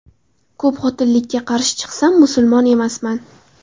Ko‘pxotinlilikka qarshi chiqsam musulmon emasman.